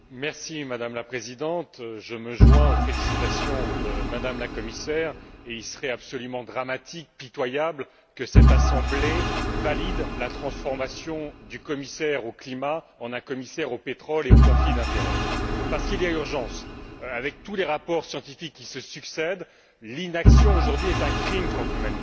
Madame la Présidente, Madame la Commissaire, je me joins aux félicitations, et il serait absolument dramatique, pitoyable, que cette Assemblée valide la transformation du commissaire au climat en un commissaire au pétrole et aux conflits d'intérêts. Parce qu'il y a urgence. Avec tous les rapports scientifiques qui se succèdent, l'inaction aujourd'hui est un crime contre l'humanité.